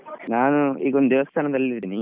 ನಾನು ಈಗೊಂದು ದೇವಸ್ಥಾನದಲ್ಲಿ ಇದ್ದೀನಿ.